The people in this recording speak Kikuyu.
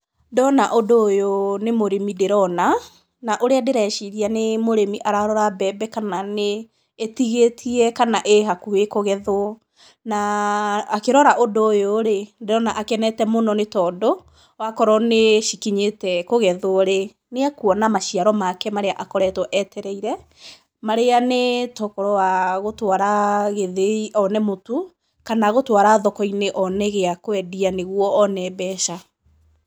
Ndona ũndũ ũyũ nĩ mũrĩmi ndĩrona, na ũrĩa ndĩreciria nĩ mũrĩmi ararora mbembe kana nĩ ĩtigĩtie kana ĩ hakuhĩ kũgethwo. Na akĩrora ũndũ ũyũ-rĩ, ndĩrona akenete mũno nĩ tondũ, wakorwo nĩ cikinyĩte kũgethwo-rĩ, nĩ ekuona maciaro make marĩa akoretwo etereire, marĩa nĩ tokorwo wa gũtwara gĩthĩi one mũtu, kana gũtwara thoko-inĩ one gĩa kwendia nĩ guo one mbeca.